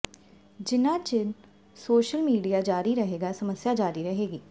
ਜਿੰਨਾ ਚਿਰ social media ਜਾਰੀ ਰਹੇਗਾ ਸਮੱਸਿਆ ਜਾਰੀ ਰਹੇਗੀ